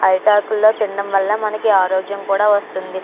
అరిటాకుల్లో తినడం వల్ల మనకి ఆరోగ్యం కూడా వస్తుంది.